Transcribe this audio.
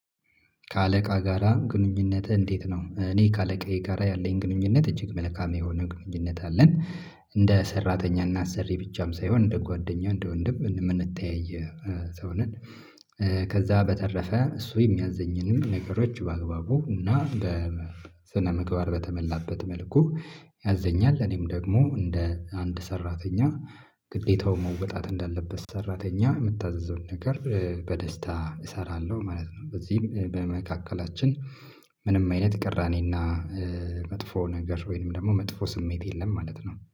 ከአለቃ ጋራ ግንኙነትህ እንዴት ነው? እኔ ከአለቃዬ ጋራ ያለኝ ግንኙነት እጅግ መለካም የሆነ ግንኙነት አለን። እንደ ሰራተኛ እና አሰሪ ብቻም ሳይሆን እንደ ጓደኛ እንደ ወንድም እን እምንተያይ ኧ ሰውነን። በተረፈ እሱ የሚያዝኝንም ነገሮች በአግባቡ እና በስነ ምግባር በተመላበት መልኩ። ያዘኛል እኔም ደግሞ እንደ አንድ ሰራተኛ ግዴታው መወጣት እንዳለበት ሰራተኛ እምታዘዘውን ነገር ኧ በደስታ እሰራለሁ ማለት ነው። በዚህም በመካከላችን ምንም አይነት ቅራኔና ኧ መጥፎ ነገር ወይንም ደግሞ መጥፎ ስሜት የለም ማለት ነው